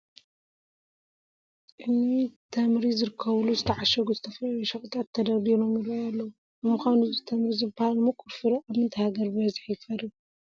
እኒ ተምሪ ዝርከቡሉ ዝተዓሸጉ ዝተፈላለዩ ሸቐጣት ተደርዲሮም ይርአዩ ኣለዉ፡፡ ንምዃኑ እዚ ተምሪ ዝበሃል ምቁር ፍረ ኣብ ምንታይ ሃገር ብበዝሒ ይፈሪ?